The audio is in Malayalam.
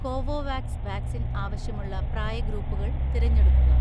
കോവോവാക്സ് വാക്സിൻ ആവശ്യമുള്ള പ്രായ ഗ്രൂപ്പുകൾ തിരഞ്ഞെടുക്കുക.